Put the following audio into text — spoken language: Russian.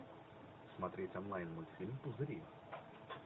смотреть онлайн мультфильм пузыри